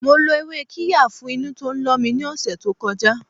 Mo lo ewé qirya fún inú tó ń lọ mi ní ọ̀sẹ̀ to koja